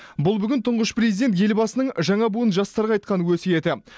бұл бүгін тұңғыш президент елбасының жаңа буын жастарға айтқан өсиеті